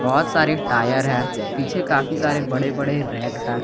बहोत सारे टायर है पीछे काफी सारे बड़े बड़े रैक है।